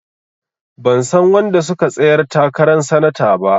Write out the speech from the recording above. Ban san wanda suka tsayar takaran sanata ba.